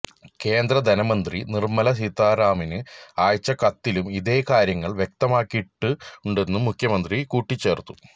കേന്ദ്ര ധനമന്ത്രി നിർമല സീതാരാമന് അയച്ച കത്തിലും ഇതേ കാര്യങ്ങൾ വ്യക്തമാക്കിയിട്ടുണ്ടെന്നും മുഖ്യമന്ത്രി കൂട്ടിച്ചേർത്തു